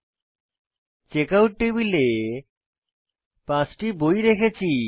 আমি চেকআউট টেবিলে পাঁচটি বই রেখেছি